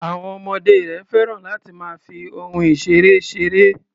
Àwọn ọmọdé rẹ̀ féràn láti máa fi ohun-ìṣeré ṣeré.